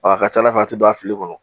A ka ca Ala fɛ a ti don a fili kɔnɔ.